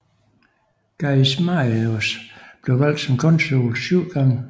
Gaius Marius blev valgt som konsul syv gange